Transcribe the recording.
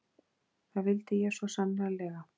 Það vildi ég svo sannarlega.